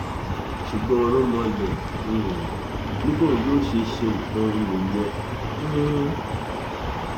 ṣùgbọn ooromhole um ni bóun yóò ṣe ṣe nǹkan òun nìyẹn um